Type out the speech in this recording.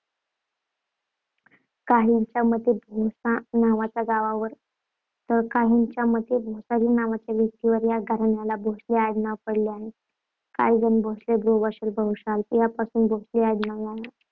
काहींच्या मते भोसा नावाच्या गावावरून तर काहींच्या मते भोसाजी नावाच्या व्यक्तीवरून या घराण्याला भोसले आडनाव पडले आहे. काही जण भोसल, भृशवल, भवशाल यांपासून भोसले आडनाव